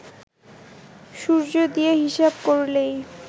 সূর্য দিয়ে হিসাব করলেই